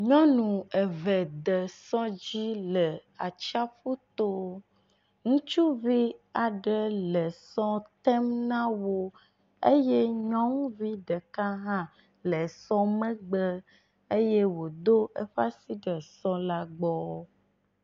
Nyɔnu eve de sɔ dzi le atsiaƒu to. Ŋutsuvi aɖe le sɔ tem na wo eye nyɔnuvi ɖeka hã le sɔ megbe eye wodo eƒe asi ɖe sɔ la gbɔ.